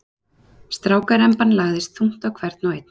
Strákaremban lagðist þungt á hvern og einn.